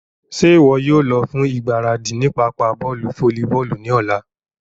Ṣe iwọ yóò lọ fun igbaradi ni papa bọọlu folliboolu ni ọla?